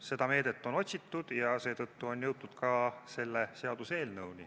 Seda meedet on otsitud ja seetõttu on jõutud ka selle seaduseelnõuni.